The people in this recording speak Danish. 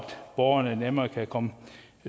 borgerne nemmere kan komme